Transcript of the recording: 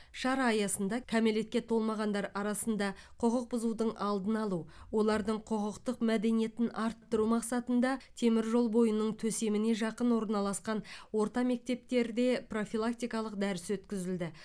шара аясында кәмелетке толмағандар арасында құқық бұзудың алдын алу олардың құқықтық мәдениетін арттыру мақсатында теміржол бойының төсеміне жақын орналасқан орта мектептерде профилактикалық дәріс өткізілді